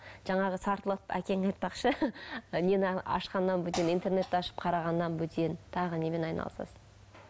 жаңағы сартылдатып әкең айтпақшы нені ашқаннан бөтен интернетті ашып қарағаннан бөтен тағы немен айналысасың